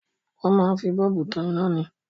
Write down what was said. Wọn máa ń fi bọ́ọ̀bù tan ina ni.